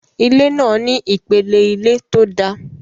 Ilé náà ní ìpele ilé tó dáa